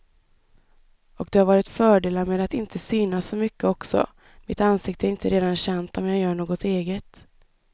Och det har varit fördelar med att inte synas så mycket också, mitt ansikte är inte redan känt om jag gör något eget.